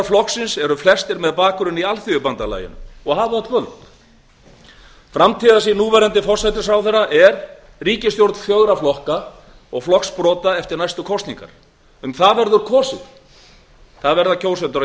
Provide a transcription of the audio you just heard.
sá armur flokksins nái aftur vopnum sínum framtíðarsýn núverandi forsætisráðherra er skýr hún ætlar að reyna að ná saman ríkisstjórn fjögurra flokka og flokksbrota eftir næstu kosningar þetta verða landsmenn að hafa í